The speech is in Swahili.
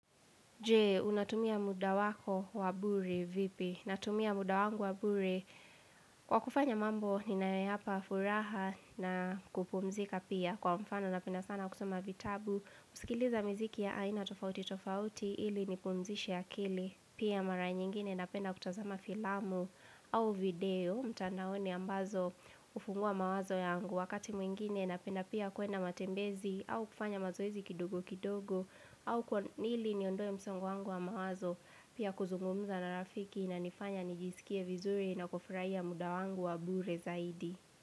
Jee, unatumia muda wako wabure vipi? Natumia muda wangu wabure. Kwa kufanya mambo, ninayoyapa furaha na kupumzika pia kwa mfano napenda sana kusoma vitabu. Kusikiliza mziki ya aina tofauti tofauti, ili nipukumzishe akili. Pia mara nyingine na penda kutazama filamu au video. Mtandaoni ambazo ufungua mawazo yangu wakati mwingine na penda pia kuenda matembezi au kufanya mazoezi kidogo kidogo au kwanili niondoe msongo wangu wa mawazo pia kuzungumza na rafiki ina nifanya nijisikie vizuri na kufraia muda wangu wa bure zaidi.